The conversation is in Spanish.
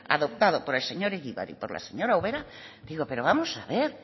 adoptado por el señor egibar y por la señora ubera digo pero vamos a ver